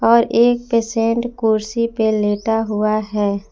और एक पेसेंट कुर्सी पे लेटा हुआ है।